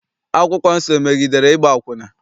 Akwụkwọ nsọ emegidere ịgba akwụna?